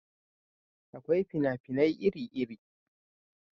Akwai fina-finai iri iri